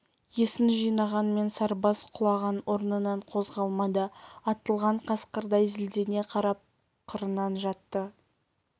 есін жинағанмен сарыбас құлаған орнынан қозғалмады атылған қасқырдай зілдене қарап қырынан жатты